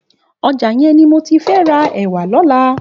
Òjà yèn ni mó ti fè rà èwà lòlà